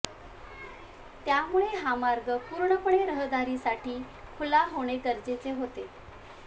त्यामुळे हा मार्ग पूर्णपणे रहदारीसाठी खुला होणे गरजेचे होते